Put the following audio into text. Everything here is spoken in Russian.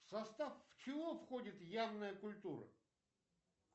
в состав чего входит явная культура